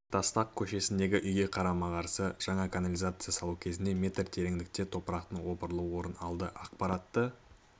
тастак көшесіндегі үйге қарама-қарсы жаңа канализацияны салу кезінде метр тереңдікте топырақтың опырылуы орын алды ақпаратты